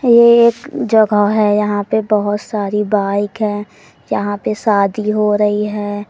ये एक जगह है यहाँ पे बहुत सारी बाइक हैं जहां पे शादी हो रही है।